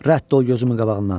Rədd ol gözümün qabağından.